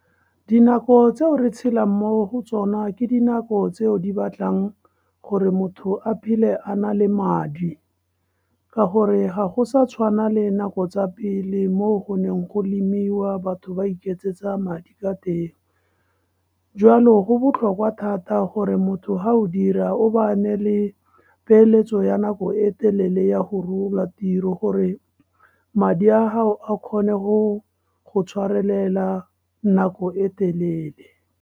Dinako tseo re tshelang mo go tsona, ke dinako tseo di batlang gore motho a phele a na le madi. Ka gore ga go sa tshwana le nako tsa pele, mo go neng go lemiwa batho ba iketsetsa madi ka teng. Jwalo go botlhokwa thata gore motho ha o dira o bane le peeletso ya nako e telele ya go rola tiro gore madi a gao a kgone go go tshwarelela nako e telele.